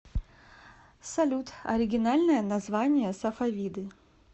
салют оригинальное название сафавиды